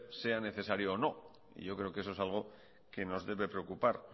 sea necesario o no y yo creo que eso es algo que nos debe preocupar